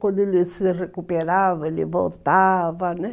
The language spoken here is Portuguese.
Quando ele se recuperava, ele voltava, né?